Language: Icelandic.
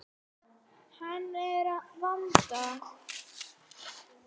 Hann hress að vanda.